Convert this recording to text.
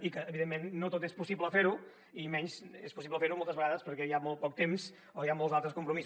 i evidentment no tot és possible fer ho i menys és possible fer ho moltes vegades perquè hi ha molt poc temps o hi ha molts altres compromisos